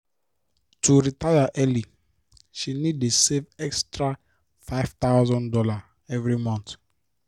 to retire early she need dey save extra five thousand dollars every month